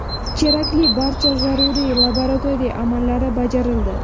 Kerakli barcha zaruriy laboratoriya amallari bajarildi.